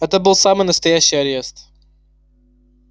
это был самый настоящий арест